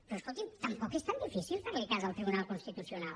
però escolti’m tampoc és tan difícil fer li cas al tribunal constitucional